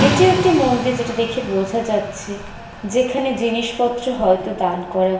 এটি একটি মন্দির যেটি দেখে বোঝা যাচ্ছে। যেখানে জিনিসপত্র হয়তো দান করা --